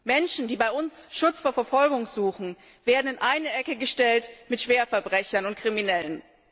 Menschen, die bei uns Schutz vor Verfolgung suchen, werden in eine Ecke gestellt mit Schwerverbrechern und Kriminellen.